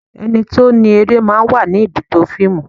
Ẹni tí ó ni eré máa ń wà ní ibùdó fíìmù.